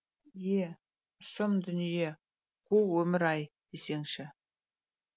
е сым дүние қу өмір ай десеңші